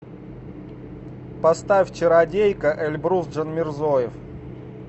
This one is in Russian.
поставь чародейка эльбрус джанмирзоев